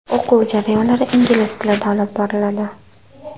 O‘quv jarayonlari ingliz tilida olib boriladi.